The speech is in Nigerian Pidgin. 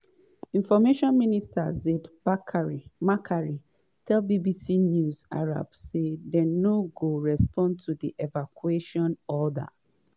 information minister ziad makary tell bbc news arabic say dem no go respond to di evacuation order.